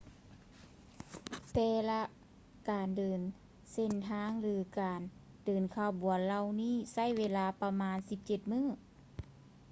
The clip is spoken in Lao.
ແຕ່ລະການເດີນເສັ້ນທາງ ຫຼື ການເດີນຂະບວນເຫລົ່ານີ້ໃຊ້ເວລາປະມານ 17 ມື້